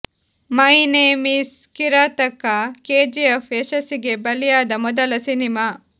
my name is Kirataka KGF ಯಶಸ್ಸಿಗೆ ಬಲಿಯಾದ ಮೊದಲ ಸಿನಿಮಾ